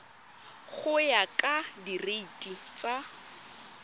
go ya ka direiti tsa